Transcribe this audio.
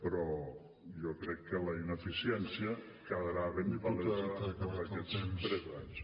però jo crec que la ineficiència quedarà ben palesa amb aquests tres anys